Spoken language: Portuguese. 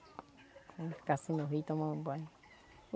Ficar assim no rio, tomando banho.